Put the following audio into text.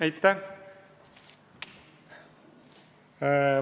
Aitäh!